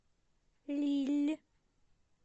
лилль